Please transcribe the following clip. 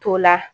To la